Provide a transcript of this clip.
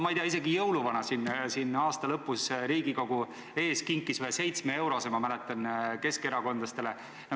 Ma ei tea, isegi jõuluvana aasta lõpus Riigikogu ees kinkis ühe 7-eurose, ma mäletan, keskerakondlastele.